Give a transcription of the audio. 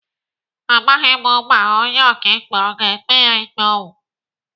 Amaghị m ma onye ọkaikpe ọ ga-ekpe ya ikpe ọnwụ.